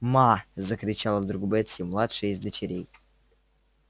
ма закричала вдруг бетси младшая из дочерей